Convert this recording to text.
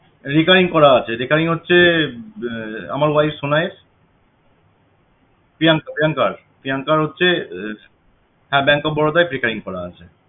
recurring করা আছে recurring হচ্ছে আমার wife সোনাইর প্রিয়াংকা প্রিয়াংকার প্রিয়াংকার হচ্ছে bank of Baroda য় frecurring করা আছে